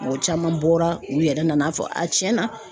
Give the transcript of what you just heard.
Mɔgɔ caman bɔra u yɛrɛ nana fɔ a tiɲɛna.